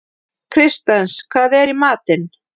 Kristens, hvað er í matinn?